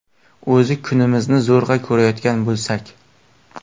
O‘zi kunimizni zo‘rg‘a ko‘rayotgan bo‘lsak.